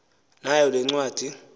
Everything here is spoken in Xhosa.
nayo le ncwadi